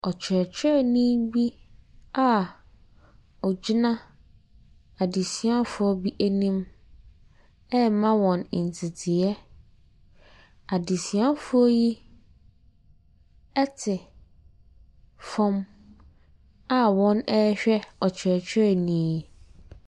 Ɔkyerɛkyerɛnii bi a ɔgyina adesuafoɔ bi anim ɛɛma wɔn nteteyɛ. Adesuafoɔ yi ɛte fɔm a wɔn ɛɛhwɛ ɔkyerɛkyerɛnii yi.